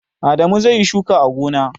Adamu zai yi shuka a gona.